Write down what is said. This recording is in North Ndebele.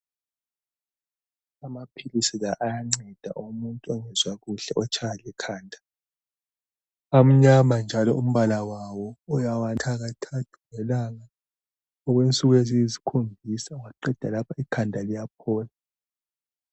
Amaphilisi la ayanceda umuntu ongezwa kuhle otshaywa likhanda. Amnyama njalo umbala wawo, uyawanatha kathathu ngelanga okwensuku eziyisikhombisa ungaqeda lapho ikhanda liyaphola.